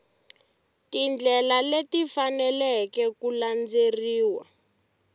tindlela leti faneleke ku landzeleriwa